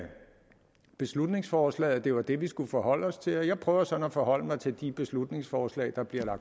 beslutningsforslaget at det var det vi skulle forholde os til og jeg prøver sådan at forholde mig til de beslutningsforslag der bliver